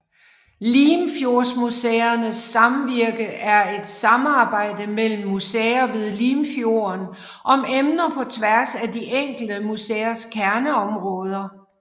Limfjordsmuseernes Samvirke er et samarbejde mellem museer ved Limfjorden om emner på tværs af de enkelte museers kerneområder